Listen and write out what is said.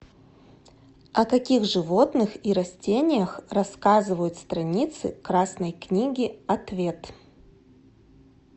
о каких животных и растениях рассказывают страницы красной книги ответ